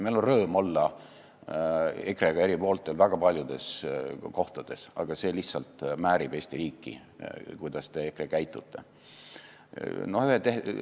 Meil on rõõm olla EKRE-ga eri pooltel väga paljudes kohtades, aga see, kuidas teie, EKRE, käitute, lihtsalt määrib Eesti riiki.